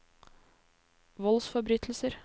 voldsforbrytelser